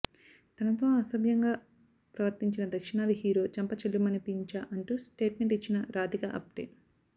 తనతో అసభ్యంగా ప్రవర్తించిన దక్షిణాది హీరో చెంప చెళ్లుమనిపించా అంటూ స్టేట్మెంట్ ఇచ్చిన రాధికా ఆప్టే